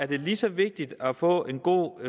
det lige så vigtigt at få en god